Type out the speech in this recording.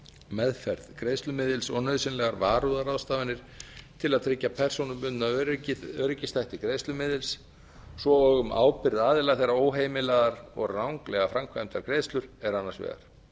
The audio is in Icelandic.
meðferð greiðslumiðils og nauðsynlegar varúðarráðstafanir til að tryggja persónubundna öryggisþætti greiðslumiðils svo og um ábyrgð aðila þegar óheimilaðar og ranglega framkvæmdar greiðslur eru annars vegar